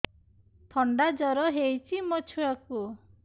ଥଣ୍ଡା ଜର ହେଇଚି ମୋ ଛୁଆକୁ